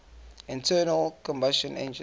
internal combustion engines